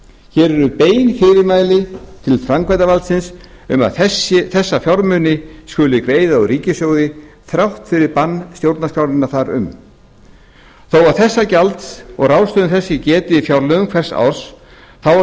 hér eru bein fyrirmæli til framkvæmdarvaldsins um að þessa fjármuni skuli greiða úr ríkissjóði þrátt fyrir bann stjórnarskrárinnar þar um þó að þessa gjalds og ráðstöfunar þess sé getið í fjárlögum hvers árs þá er